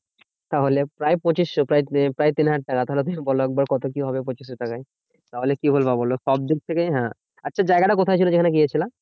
তাহলে প্রায় পঁচিশশো প্রায় প্রায় তিন হাজার টাকা। তাহলে তুমি বোলো একবার কত কি হবে পঁচিশশো টাকায়? তাহলে কি বলবো বোলো? সব দিক থেকে হ্যাঁ? আচ্ছা জায়গাটা কোথায় ছিল যেখানে গিয়েছিলে?